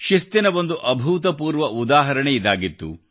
ಶಿಸ್ತಿನ ಒಂದು ಅಭೂತಪೂರ್ವ ಉದಾಹರಣೆ ಇದಾಗಿತ್ತು